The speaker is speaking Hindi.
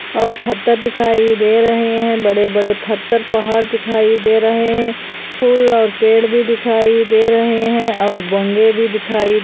और फदर दिखाई दे रहे हैं बड़े-बड़े फदर पहाड़ दिखाई दे रहे हैं फूल और पेड़ भी दिखाई दे रहे हैं। और बंगे--